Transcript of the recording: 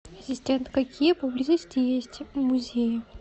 ассистент какие поблизости есть музеи